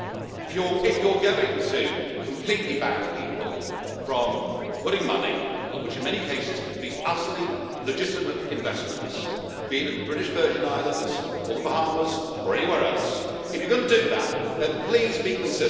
If you are going to completely ban people from putting money, which in many cases could be utterly legitimate investments, be it in the British Virgin Islands or the Bahamas or anywhere else, if you are going to do that then please be consistent.